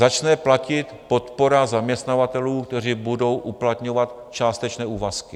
Začne platit podpora zaměstnavatelů, kteří budou uplatňovat částečné úvazky.